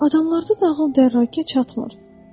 Adamlarda ağıl dərrakə çatmır.